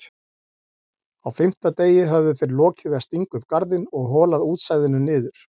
Á fimmta degi höfðu þeir lokið við að stinga upp garðinn og holað útsæðinu niður.